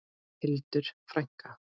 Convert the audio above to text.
Hildur frænka.